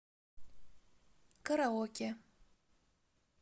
караоке